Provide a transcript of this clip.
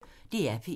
DR P1